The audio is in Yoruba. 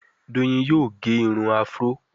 Doyin yóò gé Irun afro.